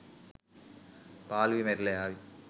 පාළුවෙ මැරිලා යාවි.